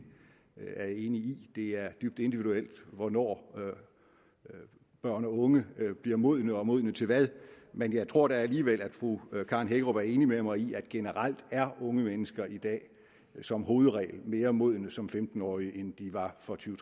er jeg enig i det er dybt individuelt hvornår børn og unge bliver modne og modne til hvad men jeg tror da alligevel at fru karen hækkerup er enig med mig i at generelt er unge mennesker i dag som hovedregel mere modne som femten årige end de var for tyve